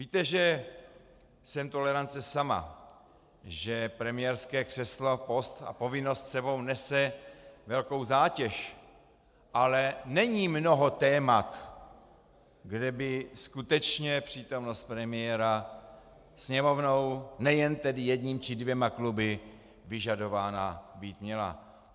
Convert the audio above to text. Víte, že jsem tolerance sama, že premiérské křeslo, post a povinnost s sebou nese velkou zátěž, ale není mnoho témat, kde by skutečně přítomnost premiéra Sněmovnou, nejen tedy jedním či dvěma kluby, vyžadována být měla.